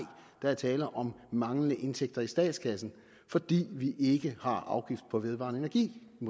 der er tale om manglende indtægter i statskassen fordi vi ikke har afgift på vedvarende energi i